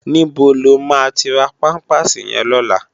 Nibó ló ma ti rá pàmpásí yèn lòlá?